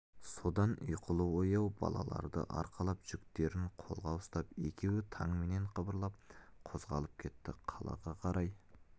содан ұйқылы-ояу балаларды арқалап жүктерін қолға ұстап екеуі таңменен қыбырлап қозғалып кетті қалаға қарай